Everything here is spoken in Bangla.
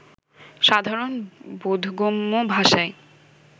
সাধারণ বোধগম্য ভাষাই